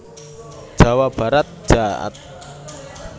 Jawa Barat jaat